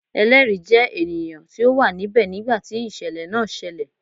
Ẹlẹri jẹ ènìyàn ti o wa níbẹ nigba ti isẹlẹ náà ṣẹlẹ